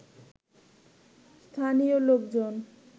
স্থানীয় লোকজন